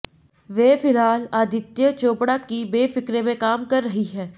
वे फिलहाल आदित्य चोपड़ा की बेफिक्रे में काम कर रही हैं